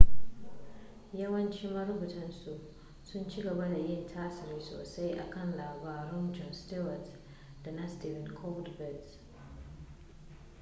yawancin marubutan su sun ci gaba da yin tasiri sosai a kan labaran jon stewart da na stephen colbert